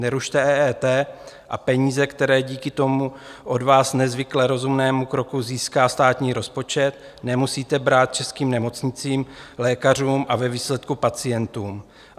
Nerušte EET a peníze, které díky tomu od vás nezvykle rozumnému kroku získá státní rozpočet, nemusíte brát českým nemocnicím, lékařům a ve výsledku pacientům.